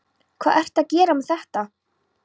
Hvað ertu að gera með þetta?